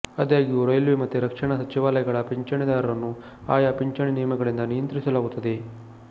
ಆದಾಗ್ಯೂ ರೈಲ್ವೆ ಮತ್ತು ರಕ್ಷಣಾ ಸಚಿವಾಲಯಗಳ ಪಿಂಚಣಿದಾರರನ್ನು ಆಯಾ ಪಿಂಚಣಿ ನಿಯಮಗಳಿಂದ ನಿಯಂತ್ರಿಸಲಾಗುತ್ತದೆ